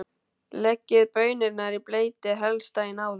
Leggið baunirnar í bleyti, helst daginn áður.